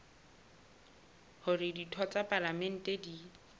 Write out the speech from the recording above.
hore ditho tsa palamente di